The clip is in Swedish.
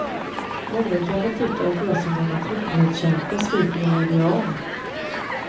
Mången kanske tycker att jag som gammal tryckfrihetskämpe sviker mina ideal.